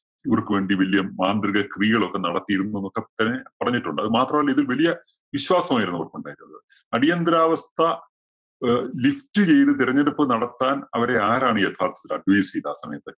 ഇവര്‍ക്ക് വേണ്ടി വല്യ മാന്ത്രിക ക്രിയകളൊക്കെ നടത്തിയിരുന്നു എന്നൊക്കെ പ~പറഞ്ഞിട്ടുണ്ട്. അതുമാത്രമല്ല, ഇതില്‍ വലിയ വിശ്വാസമായിരുന്നു അവര്‍ക്കൊണ്ടായിട്ടുള്ളത്. അടിയന്തരാവസ്ഥ അഹ് lift ചെയ്ത് തെരഞ്ഞെടുപ്പ് നടത്താന്‍ അവരെ ആരാണ് യഥാര്‍ത്ഥത്തില്‍ advice ചെയ്തത് ആ സമയത്ത്.